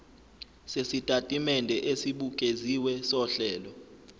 sesitatimende esibukeziwe sohlelo